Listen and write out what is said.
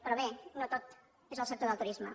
però bé no tot és el sector del turisme